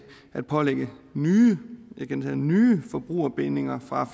at pålægge nye og jeg gentager nye forbrugerbindinger fra